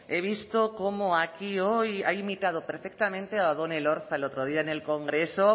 he visto como aquí hoy ha imitado perfectamente a odón elorza el otro día en el congreso